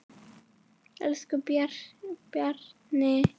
Elsku Bjarni.